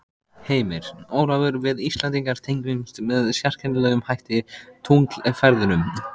Heimir: Ólafur við Íslendingar tengjumst með sérkennilegum hætti tunglferðunum?